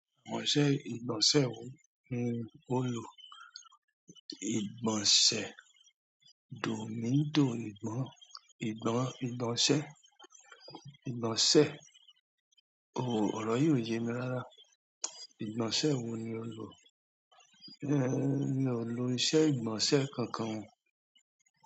Àwọn iṣẹ́ ìgbọ̀nsẹ̀ wo ni ó lò? Ìgbọ̀nsẹ̀ Domido, ìgbọ̀nsẹ̀, ìgbọ̀nsẹ̀, ọrọ yi o yé mi rara. Ìgbọ̀nsẹ̀ wo ni ó lò? Mi ò lò iṣẹ́ ìgbọ̀nsẹ̀ kankan.